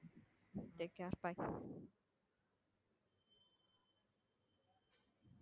take care bye